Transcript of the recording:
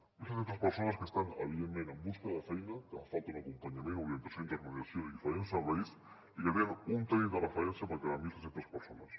són mil set cents persones que estan evidentment buscant feina que els hi fa falta un acompanyament orientació intermediació i diferents serveis i que tenen un tècnic de referència per cada mil set cents persones